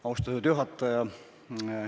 Austatud juhataja!